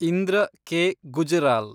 Indra K. Gujral